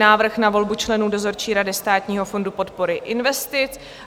Návrh na volbu členů dozorčí rady Státního fondu podpory investic